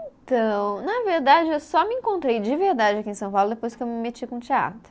Então, na verdade, eu só me encontrei de verdade aqui em São Paulo depois que eu me meti com teatro.